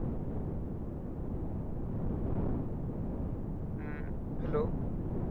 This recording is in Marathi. हम्म hello